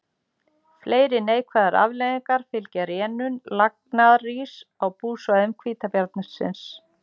Fleiri neikvæðar afleiðingar fylgja rénun lagnaðaríss á búsvæðum hvítabjarnarins.